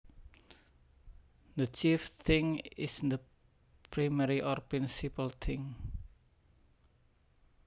The chief thing is the primary or principal thing